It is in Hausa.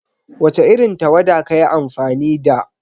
Wace irin tawada kayi amfani da?